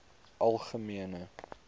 algemene